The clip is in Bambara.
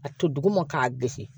A to duguma k'a gosi